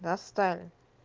достали